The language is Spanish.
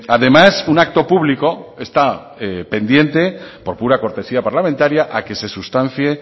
además un acto público está pendiente por pura cortesía parlamentaria a que se sustancie